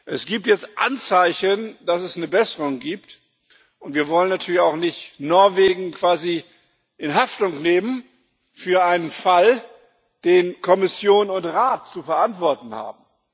Es gibt jetzt Anzeichen, dass es eine Besserung gibt, und wir wollen natürlich auch nicht Norwegen quasi in Haftung nehmen für einen Fall, den Kommission und Rat zu verantworten haben.